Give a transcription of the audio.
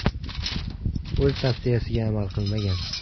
U o‘z tavsiyasiga amal qilmagan.